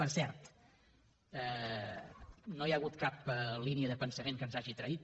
per cert no hi ha hagut cap línia de pensament que ens hagi traït